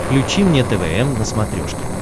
включи мне твм на смотрешке